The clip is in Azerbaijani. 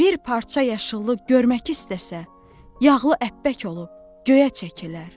Bir parça yaşıllıq görmək istəsə, yağlı ətbək olub göyə çəkilər.